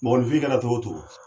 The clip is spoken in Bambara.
Mɔgɔlefin kɛra cogo o cogo.